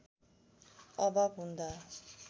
अभाव हुँदा